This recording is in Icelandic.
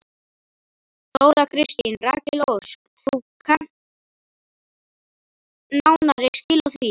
Þóra Kristín: Rakel Ósk þú kannt nánari skil á því?